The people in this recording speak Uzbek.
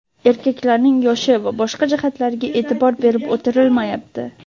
Erkaklarning yoshi va boshqa jihatlariga e’tibor berib o‘tirilmayapti.